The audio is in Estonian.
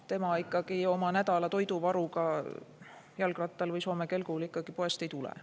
Tema ikkagi oma nädala toiduvaruga jalgrattal või soome kelgul poest ei tule.